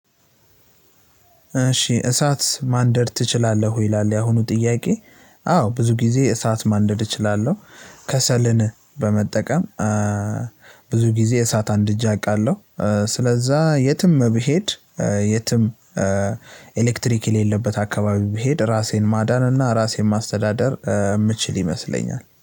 እሺ "እሳት ማንደድ ትችላለህ ወይ?" ይላል ያሁኑ ጥያቄ፣ አዎ ብዙ ጊዜ እሳት ማንደድ እችላለሁ። ከሰልን በመጠቀም ብዙ ጊዜ እሳት አንድጄ አውቃለሁ። ስለዛ የትም ብሄድ የትም ኤሌክትሪክ የሌለበት አካባቢ ብሄድ ራሴን ማዳን እና ራሴን ማስተዳደር የምችል ይመስለኛል።